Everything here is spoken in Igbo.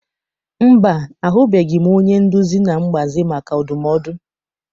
Mba, ahụbeghị m onye nduzi na mgbazi maka ndumodu.